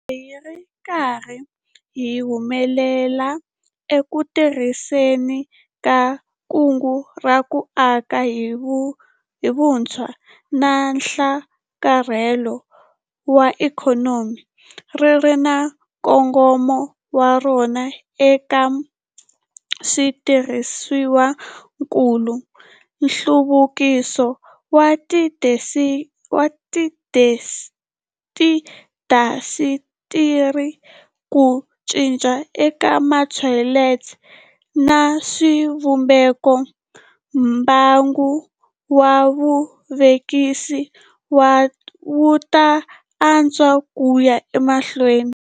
Loko hi ri karhi hi humelela eku tirhiseni ka Kungu ra ku Aka hi Vutshwa na Nhlakarhelo wa Ikhonomi, ri ri na nkongomo wa rona eka switirhisiwakulu, nhluvukiso wa tiindasitiri, ku cinca eka matholelo na swivumbeko, mbangu wa vuvekisi wu ta antswa ku ya emahlweni.